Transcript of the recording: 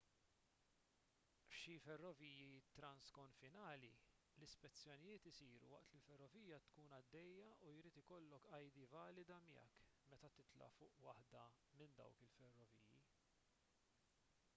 f'xi ferroviji transkonfinali l-ispezzjonijiet isiru waqt li l-ferrovija tkun għaddejja u jrid ikollok id valida miegħek meta titla' fuq waħda minn dawk il-ferroviji